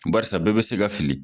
Barisi bɛɛ be se ka fili